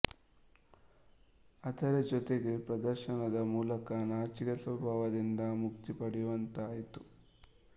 ಅದರ ಜೊತೆಗೆ ಪ್ರದರ್ಶನದ ಮೂಲಕ ನಾಚಿಕೆ ಸ್ವಭಾವದಿಂದ ಮುಕ್ತಿ ಪಡೆಯುವಂತಾಯಿತು